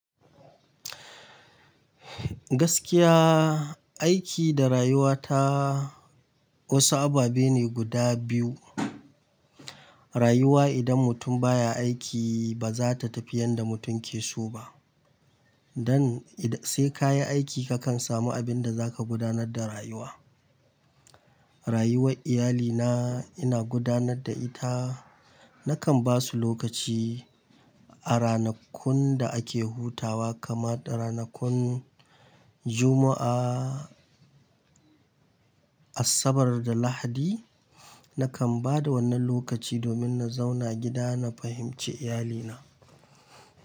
Gaskiya, aiki da rayuwa ta wasu ababe ne guda biyu. Rayuwa idan mutum baya aiki ba za ta tafi yanda mutum ke so ba. Dan ida sai ka yi aiki ka kan samu abin da za ka gudanar da rayuwa. Rayuwar iyalina ina gudanar da ita. Nakan ba su lokaci a ranakun da ake hutawa kamar ranakun Juma'a, Asabar da Lahadi. Nakan ba da wannan lokaci domin na zauna gida na fahimci iyalina.